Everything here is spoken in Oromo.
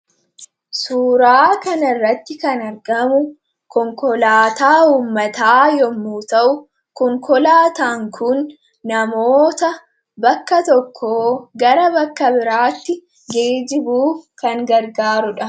Suura kana irratti kan mul'atu konkolaataa uummataa yoo ta'u konkolaataan Kun namoota bakka tokkoo gar bakka biraatti geejjibuuf kan gargaarudha.